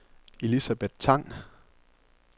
Elisabeth Tang